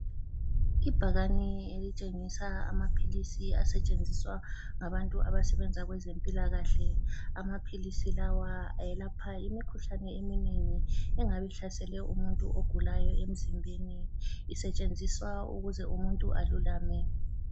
Ibhakani elitshengisa amaphilisi asetshenziswa ngabantu abasebenza kwezempilakahle amaphilisi lawa ayelapha imikhuhlane eminengi engabe ihlasele umuntu ogulayo emzimbeni isetshenziswa ukuze umuntu alulame.